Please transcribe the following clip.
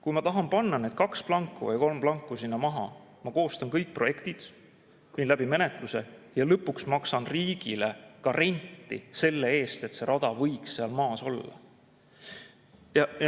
Kui ma tahan sinna maha panna kaks või kolm rida planku, ma koostan kõik projektid, viin läbi menetluse ja lõpuks maksan riigile ka renti selle eest, et see rada võiks seal maas olla.